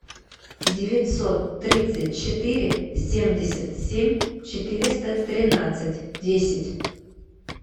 девятьсот тридцать четыре семьдесят семь четыреста тринадцать десять